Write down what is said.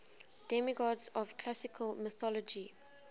demigods of classical mythology